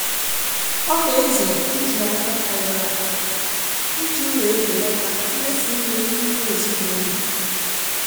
Ọ na-ezere ịzụ ahịa karịrị akarị iji wee belata mmefu nri n'ime ezinụlọ